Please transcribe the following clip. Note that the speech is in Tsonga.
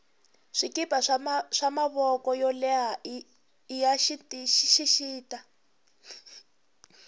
swikipa swa mavoko yo leha iya xixita